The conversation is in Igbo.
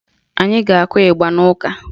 Anyi ga-akụ ịgba n'ụka